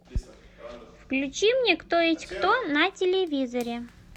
включи мне кто есть кто на телевизоре